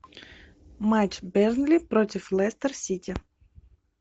матч бернли против лестер сити